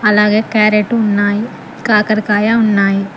అలాగే క్యారెట్ ఉన్నాయి కాకరకాయ ఉన్నాయి.